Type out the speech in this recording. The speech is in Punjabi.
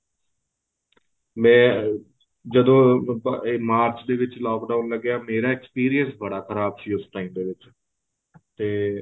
ਮੈਂ ਜਦੋਂ ਇਹ ਮਾਰਚ ਦੇ ਵਿੱਚ lock down ਲੱਗਿਆ ਮੇਰਾ experience ਬੜਾ ਖ਼ਰਾਬ ਸੀ ਉਸ time ਦੇ ਵਿੱਚ ਤੇ